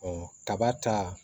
kaba ta